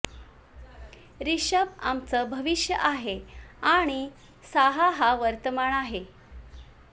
रिषभ आमचं भविष्य आहे आणि साहा हा वर्तमान आहे